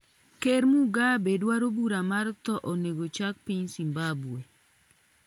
ker Mugabe dwaro bura mar thoo onego chak piny Zimbambwe